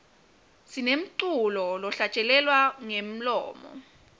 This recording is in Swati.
sinemculo lohlatjelelwa ngemlomo